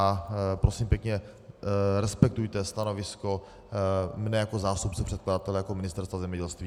A prosím pěkně, respektujte stanovisko mne jako zástupce předkladatele, jako Ministerstva zemědělství.